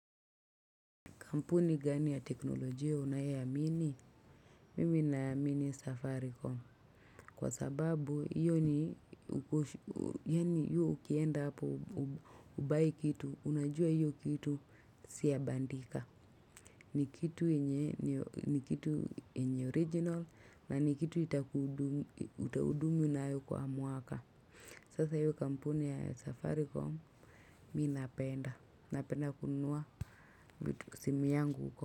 Kampuni gani ya teknolojia unayoiamini? Mimi naamini safaricom. Kwa sababu, iyo ni ukosho, yaani hiyo ukienda hapo ubuy kitu, unajua hiyo kitu si ya bandika. Ni kitu yenye, ni kitu yenye original, na ni kitu itakudumu nayo kwa mwaka. Sasa hiyo kampuni ya safaricom, mi napenda. Napenda kununua simu yangu.